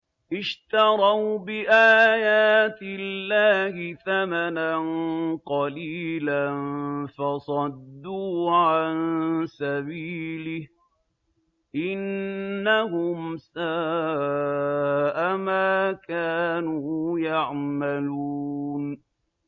اشْتَرَوْا بِآيَاتِ اللَّهِ ثَمَنًا قَلِيلًا فَصَدُّوا عَن سَبِيلِهِ ۚ إِنَّهُمْ سَاءَ مَا كَانُوا يَعْمَلُونَ